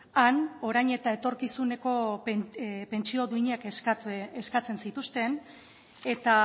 han orain eta etorkizuneko pentsio duinak eskatzen zituzten eta